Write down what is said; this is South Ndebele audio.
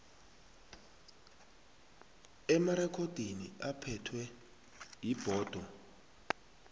emarekhodini aphethwe yibhodo